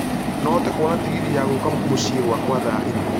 no hote kũona tegithi ya gũka mũciĩ gwakwa thaa ĩmwe